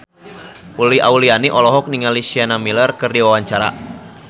Uli Auliani olohok ningali Sienna Miller keur diwawancara